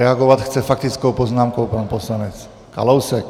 Reagovat chce faktickou poznámkou pan poslanec Kalousek.